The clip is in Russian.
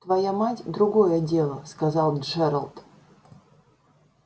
твоя мать другое дело сказал джералд